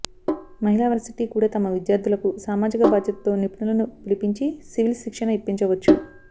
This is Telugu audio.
మహిళా వర్సిటీ కూడా తమ విద్యార్థులకు సామాజిక బాధ్యతతో నిపుణులను పిలిపించి సివిల్స్ శిక్షణ ఇప్పించవచ్చు